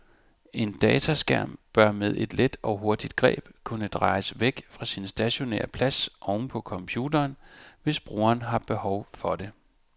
En dataskærm bør med et let og hurtigt greb kunne drejes væk fra sin stationære plads oven på computeren, hvis brugeren har behov for det.